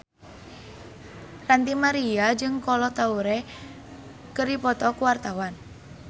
Ranty Maria jeung Kolo Taure keur dipoto ku wartawan